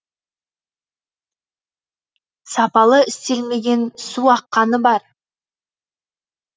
сапалы істелмеген су аққаны бар